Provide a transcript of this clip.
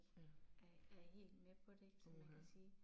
Ja. Uha